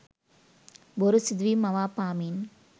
බොරු සිදුවීම් මවා පාමින්